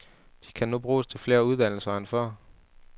De kan bruges til flere uddannelser end før.